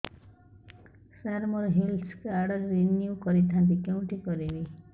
ସାର ମୋର health card renew କରିଥାନ୍ତି କେଉଁଠି କରିବି